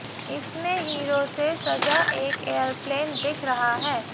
इसमें हीरों से सजा एक एयरप्लेन दिख रहा है